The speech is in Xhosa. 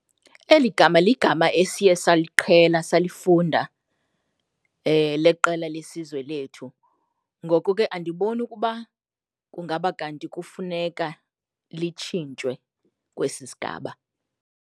Eli gama ligama esiye saliqhela salifunda leqela lesizwe lethu, ngoku ke andiboni ukuba kungaba kanti kufuneka litshintswe kwesi sigaba.